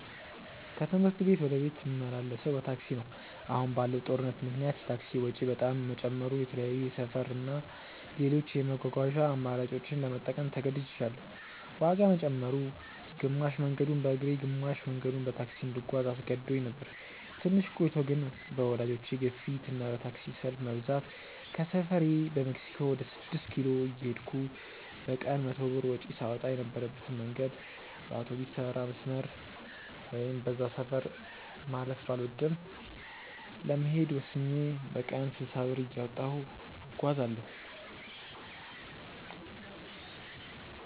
ከትምህርት ቤት ወደ ቤት ምመላለሰው በታክሲ ነው። አሁን ባለው ጦርነት ምክንያት የታክሲ ወጪ በጣም መጨመሩ የተለያዩ የሰፈር እና ሌሎች የመጓጓዣ አማራጮችን ለመጠቀም ተገድጅያለው። ዋጋ መጨመሩ፣ ግማሽ መንገዱን በእግሬ ግማሽ መንገዱን በታክሲ እንድጓዝ አስገድዶኝ ነበር። ትንሽ ቆይቶ ግን በወላጆቼ ግፊት እና በታክሲ ሰልፍ መብዛት ከሰፈሬ በሜክሲኮ ወደ ስድስት ኪሎ እየሄድኩ በቀን 100 ብር ወጪ ሳወጣ የነበረበትን መንገድ በአውቶቢስተራ መስመር (በዛ ሰፈር ማለፍ ባልወድም) ለመሄድ ወስኜ በቀን 60 ብር እያወጣሁ እጓጓዛለው።